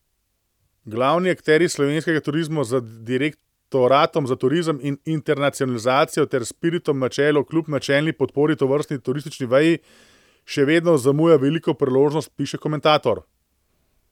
Glavni akterji slovenskega turizma z Direktoratom za turizem in internacionalizacijo ter Spiritom na čelu kljub načelni podpori tovrstni turistični veji še vedno zamuja veliko priložnost, piše komentator.